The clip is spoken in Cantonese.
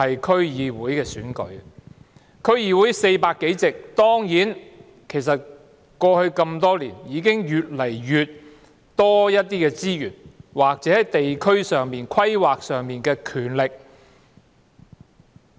區議會有400多個議席，經過多年努力，已經得到越來越多資源或在地區規劃上的權力。